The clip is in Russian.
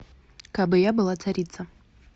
кабы я была царица